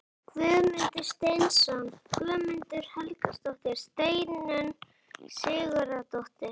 Guðmundur Steinsson, Guðrún Helgadóttir, Steinunn Sigurðardóttir